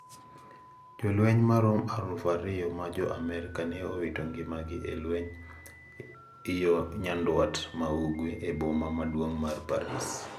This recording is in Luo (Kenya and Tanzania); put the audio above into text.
Jolweny maromo aluf ariyo ma jo Amerka ne owito ngimagi e lwenyno yo nyanduat ma ugwe e boma maduong` mar Paris.